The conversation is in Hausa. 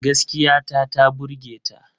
Gaskiya ta ta burge ta.